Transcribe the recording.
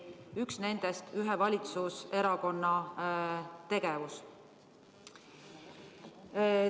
Üks nendest on ühe valitsuserakonna tegevus.